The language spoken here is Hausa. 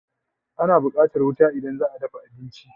Ana buƙatan wuta idan zaa dafa abinci